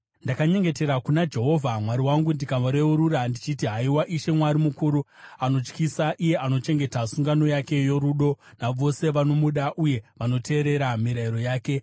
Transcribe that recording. Ndakanyengetera kuna Jehovha Mwari wangu ndikareurura ndichiti: “Haiwa Ishe, Mwari mukuru anotyisa, iye anochengeta sungano yake yorudo navose vanomuda uye vanoteerera mirayiro yake,